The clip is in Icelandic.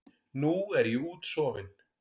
Nú er ég útsofin.